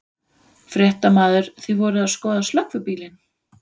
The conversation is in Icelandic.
Fréttamaður: Þið voruð að skoða slökkvibílinn?